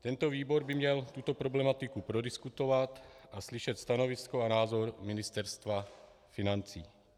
Tento výbor by měl tuto problematiku prodiskutovat a slyšet stanovisko a názor Ministerstva financí.